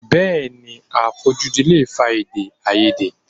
Bẹẹni, àfojúdi lè fa edè-áiyedé.